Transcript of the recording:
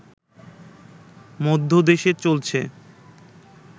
মধ্যে দেশ চলছে